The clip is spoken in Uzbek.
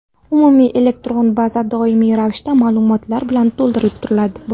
Umumiy elektron baza doimiy ravishda ma’lumotlar bilan to‘ldirib boriladi.